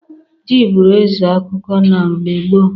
Ji bụrụ eze akụkụ na mgbe gboo.